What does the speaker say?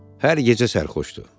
Hər gecə sərxoşdur.